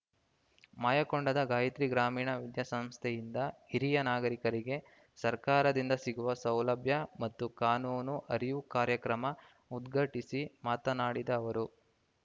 ಮಾಯಕೊಂಡದ ಗಾಯತ್ರಿ ಗ್ರಾಮೀಣ ವಿದ್ಯಾಸಂಸ್ಥೆಯಿಂದ ಹಿರಿಯ ನಾಗರಿಕರಿಗೆ ಸರ್ಕಾರದಿಂದ ಸಿಗುವ ಸೌಲಭ್ಯ ಮತ್ತು ಕಾನೂನು ಅರಿವು ಕಾರ್ಯಕ್ರಮ ಉದ್ಘಾಟಿಸಿ ಮಾತನಾಡಿದ ಅವರು